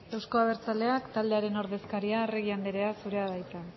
euzko abertzaleak taldearen ordezkaria arregi anderea zurea da hitza